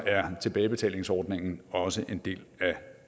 er tilbagebetalingsordningen også en del